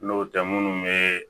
N'o tɛ minnu bɛ